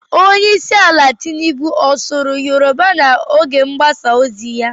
Onye isi ala Tinubu ọ sụru Yoroba n'oge mgbasa ozi ya?